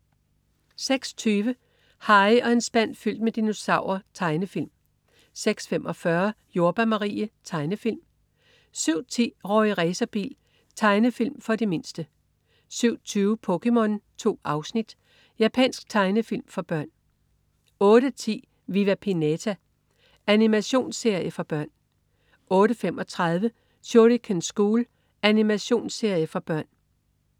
06.20 Harry og en spand fyldt med dinosaurer. Tegnefilm 06.45 Jordbær Marie. Tegnefilm 07.10 Rorri Racerbil. Tegnefilm for de mindste 07.20 POKéMON. 2 afsnit. Japansk tegnefilm for børn 08.10 Viva Pinata. Animationsserie for børn 08.35 Shuriken School. Animationsserie for børn